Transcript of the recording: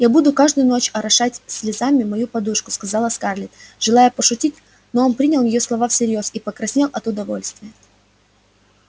я буду каждую ночь орошать слезами мою подушку сказала скарлетт желая пошутить но он принял её слова всерьёз и покраснел от удовольствия